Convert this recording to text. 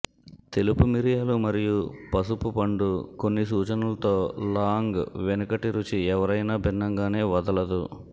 తెలుపు మిరియాలు మరియు పసుపు పండు కొన్ని సూచనలతో లాంగ్ వెనుకటిరుచి ఎవరైనా భిన్నంగానే వదలదు